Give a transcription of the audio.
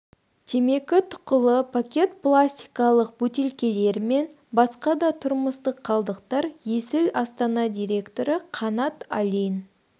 темекі тұқылы пакет пластикалық бөтелкелер мен басқа да тұрмыстық қалдықтар есіл астана директоры қанат алин